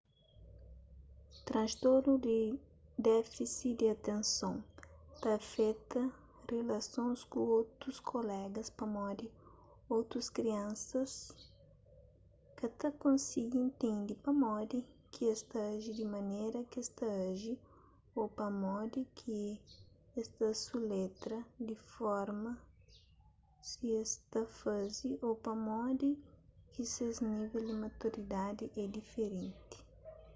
transtornu di defisi di atenson ta afeta rilasons ku otus kulega pamodi otus kriansa ka ta konsigi intende pamodi ki es ta aji di manera kes ta aji ô pamodi ki es ta suletra di forma si es ta faze ô pamodi ki ses nível di maturidadi é diferenti